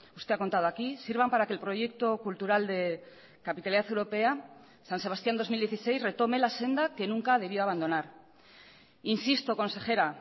usted ha contado aquí sirvan para que el proyecto cultural de capitalidad europea san sebastián dos mil dieciséis retome la senda que nunca debió abandonar insisto consejera